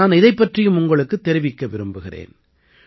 நான் இதைப் பற்றியும் உங்களுக்குத் தெரிவிக்க விரும்புகிறேன்